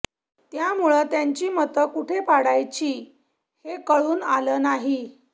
त्यामुळं त्यांची मतं कुठे पाडायची हे कळून आलं नाही